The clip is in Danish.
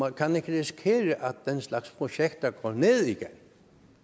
kan ikke risikere at den slags projekter går ned igen